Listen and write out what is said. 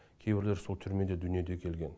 кейбіреулері сол түрмеде дүниеге келген